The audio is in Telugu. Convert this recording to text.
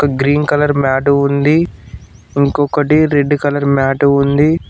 గ్రీన్ కలర్ మ్యాట్ ఉంది ఇంకొకటి రెడ్ కలర్ మ్యాట్ ఉంది.